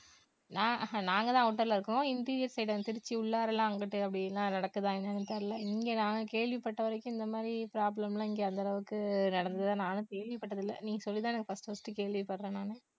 நான்~ நாங்க தான் outer ல இருக்கிறோம் interior side அந்த திருச்சி உள்ளாரல்லாம் அங்கிட்டு அப்படில்லாம் நடக்குதா என்னான்னு தெரியல. இங்க நான் கேள்விப்பட்ட வரைக்கும் இந்த மாதிரி problem லாம் இங்க அந்த அளவுக்கு நடந்ததா நானும் கேள்விப்பட்டது இல்ல நீ சொல்லித்தான் first first உ கேள்விப்பட்றேன் நானு